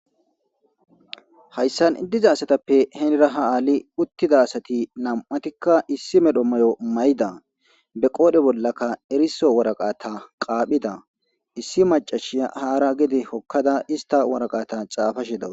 Hayssan diza asatappe heenira ha aali uttida asati nam7atikka issi medho mayo may7ida be qoodhe bollakka eriso waraqata qaaphida issi macashi haara gede hokkada ista waraqata xaafashidaw.